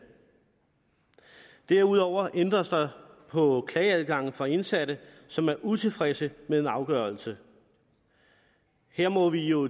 derudover ændres der på klageadgangen for indsatte som er utilfredse med en afgørelse her må vi jo